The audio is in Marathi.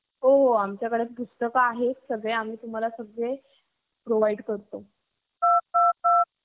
police भरती म्हणजे तुम्हाला जी भरती दायची ती तिथं .तिथं आपल्याला तयार कर केल जात.आणि तिथं एवढं पट असण्याचं करण म्हणजे आमच struggal